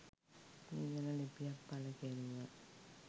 මේ ගැන ලිපියක් පළ කෙරුවා